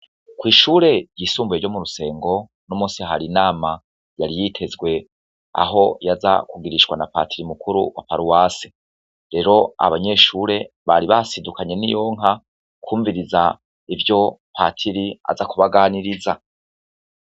Kw'ishure ryisumbuye ryo mu rusengo uno musi har'inama yari yitezwe aho yaza kugirishwa na patiri mukuru wa paruwase, rero abanyeshure bari basidukanye n'iyonka kwumviriza ivyo patiri aza kubaganiriza.